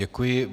Děkuji.